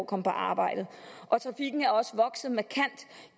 komme på arbejde og trafikken er også vokset markant